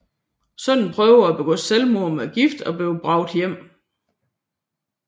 Sønnen prøver at begå selvmord med gift og bliver bragt hjem